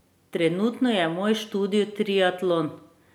Trenutno je moj študij triatlon.